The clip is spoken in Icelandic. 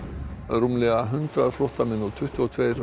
rúmlega hundrað flóttamenn og tuttugu og tveir